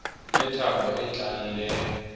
le thabo e tlang le